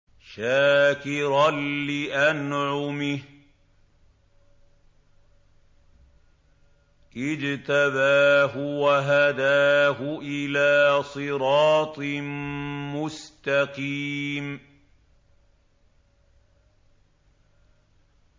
شَاكِرًا لِّأَنْعُمِهِ ۚ اجْتَبَاهُ وَهَدَاهُ إِلَىٰ صِرَاطٍ مُّسْتَقِيمٍ